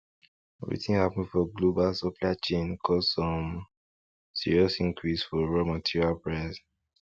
wetin happen for global supply chain cause um serious increase for raw material price